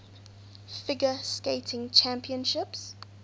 figure skating championships